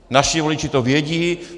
Naši voliči to vědí.